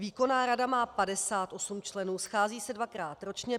Výkonná rada má 58 členů, schází se dvakrát ročně.